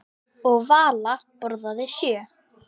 Og Vala borðaði sjö.